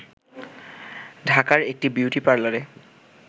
ঢাকার একটি বিউটি পার্লারে